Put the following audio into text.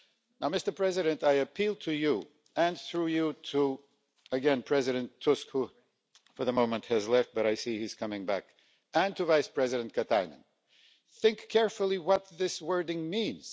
Now, Mr President, I appeal to you and through you to President Tusk, who for the moment has left, but I see he's coming back and to Vice-President Katainen think carefully what this wording means.